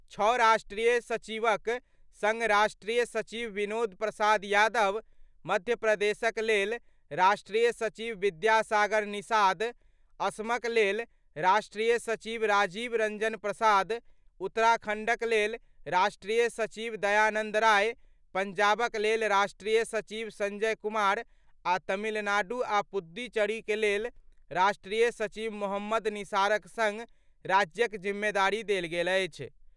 छओ राष्ट्रीय सचिवक सङ्ग राष्ट्रीय सचिव विनोद प्रसाद यादव, मध्य प्रदेशक लेल राष्ट्रीय सचिव विद्यासागर निषाद, असमक लेल राष्ट्रीय सचिव राजीव रंजन प्रसाद, उत्तराखण्डक लेल राष्ट्रीय सचिव दयानंद राय, पंजाबक लेल राष्ट्रीय सचिव संजय कुमार आ तमिलनाडु आ पुडुचेरीक लेल राष्ट्रीय सचिव मोहम्मद निसारक सङ्ग राज्यक जिम्मेदारी देल गेल अछि।